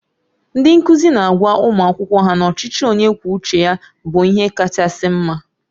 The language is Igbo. Ndị nkụzi na-agwa ụmụ akwụkwọ ha na ọchịchị onye kwuo uche ya bụ ihe kachasị mma